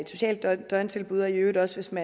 socialt døgntilbud og i øvrigt også som